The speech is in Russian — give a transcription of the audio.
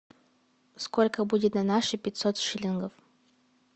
сколько будет на наши пятьсот шиллингов